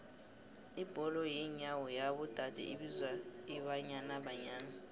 ibholo yenyawo yabo dade ibizwa ibanyana banyana